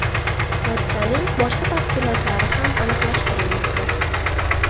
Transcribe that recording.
Hodisaning boshqa tafsilotlari ham aniqlashtirilmoqda.